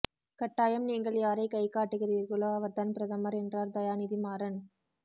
கட்டாயம் நீங்கள் யாரை கை காட்டுகிறீர்களோ அவர்தான் பிரதமர் என்றார் தயாநிதி மாறன்